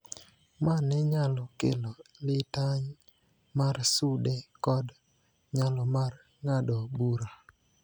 ma ne nyalo kelo litany mar sude kod nyalo mar ng�ado bura.